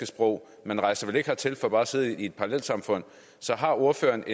sprog man rejser vel ikke hertil for bare at sidde i et parallelsamfund så har ordføreren